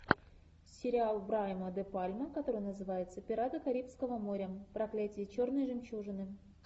сериал брайана де пальма который называется пираты карибского моря проклятие черной жемчужины